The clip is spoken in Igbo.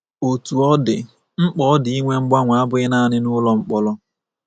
Otú ọ dị, mkpa ọ dị ịnwe mgbanwe abụghị nanị nụlọ mkpọrọ.